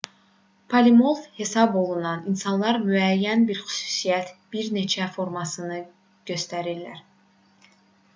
polimorf hesab olunan insanlar müəyyən bir xüsusiyyətin bir neçə formasını göstərirlər